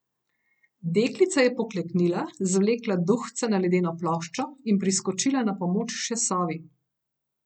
Deklica je pokleknila, zvlekla duhca na ledeno ploščo in priskočila na pomoč še sovi.